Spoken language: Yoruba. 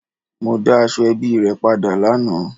Mo da Asoebi re pada lana